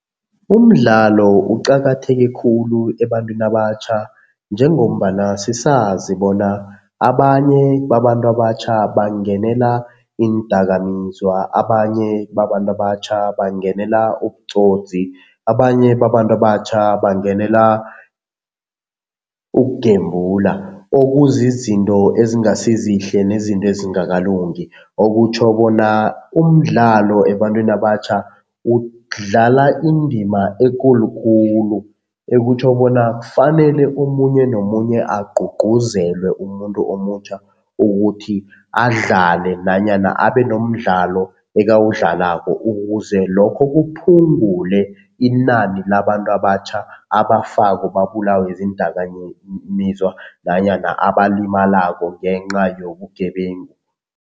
Umdlalo uqakatheke khulu ebantwini abatjha njengombana sisazi bona abanye babantu abatjha bangenela iindakamizwa, abanye babantu abatjha bangenela ubutsotsi, abanye babantu abatjha bangenela ukugembula okuzizinto ezingasizihle nezinto ezingakalungi. Okutjho bona umdlalo ebantwini abatjha udlala indima ekulukulu, ekutjho bona kufanele omunye nomunye agcugcuzelwe umuntu omutjha ukuthi adlale nanyana abe nomdlalo ekuwudlalako ukuze lokho kuphungule inani labantu abatjha abafako babulawe ziindakamizwa nanyana abalimalako ngenca yobugebengu.